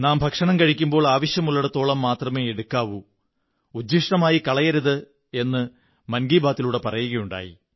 നാം ഭക്ഷണം കഴിക്കുമ്പോൾ ആവശ്യമുള്ളിടത്തോളം മാത്രമേ എടുക്കാവൂ ഉച്ഛിഷ്ടമായി കളയരുത് എന്ന് മൻ കീ ബാത്തിൽ പറയുകയുണ്ടായി